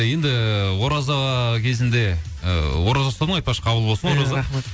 енді ораза кезінде і ораза ұстадың ғой айтпақшы ораза қабыл болсын иә рахмет